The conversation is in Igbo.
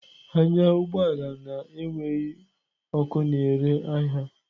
Anya ụgbọ ala na-enweghị ọkụ na-ere ahịa!